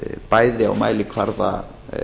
bæði á mælikvarða